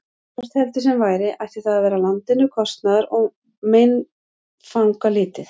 Hvort heldur sem væri, ætti það að vera landinu kostnaðar- og meinfangalítið.